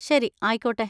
ശരി, ആയിക്കോട്ടെ.